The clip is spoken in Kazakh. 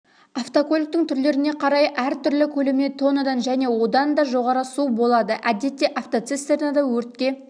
автокөліктің түрлеріне қарай әртүрлі көлемде тоннадан және одан да жоғары су болады әдетте автоцистернада өртке